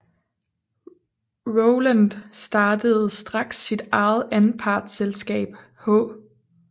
Roland startede straks sit eget anpartsselskab H